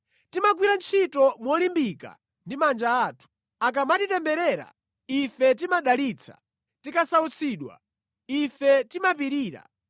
Timagwira ntchito molimbika ndi manja athu. Akamatitemberera, ife timadalitsa; tikasautsidwa, ife timapirira.